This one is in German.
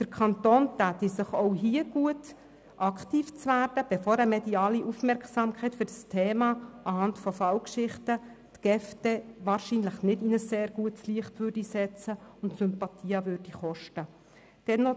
Für den Kanton Bern wäre es auch hier gut, aktiv zu werden, bevor eine mediale Aufmerksamkeit für dieses Thema anhand von Fallgeschichten die GEF dann wahrscheinlich nicht in ein sehr gutes Licht rücken und Sympathien kosten würde.